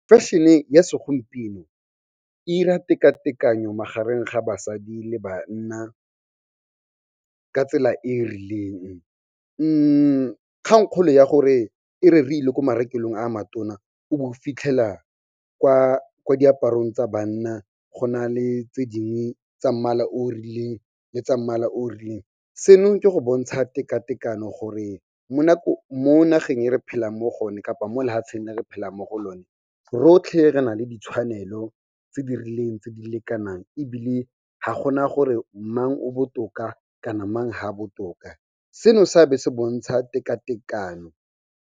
Fashion-e ya segompieno e 'ira teka-tekanyo magareng ga basadi le banna, ka tsela e e rileng. Kgangkgolo ya gore e re re ile ko marekelong a matona, o bo o fitlhela kwa diaparong tsa banna, go na le tse dingwe tsa mmala o o rileng le tsa mmala o o rileng. Seno ke go bontsha teka-tekano gore mo nageng e re phelang mo gone kapa mo lehatsheng le re phelang mo go lone, rotlhe re na le ditshwanelo tse di rileng tse di lekanang. Ebile ga gona gore mang o botoka kana mang ha botoka seno sa be se bontsha teka-tekano.